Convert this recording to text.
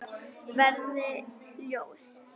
Verði ljós.